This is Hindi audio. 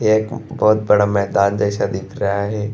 यह एक बहुत बड़ा मैदान जैसा दिख रहा है।